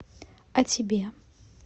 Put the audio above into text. о тебе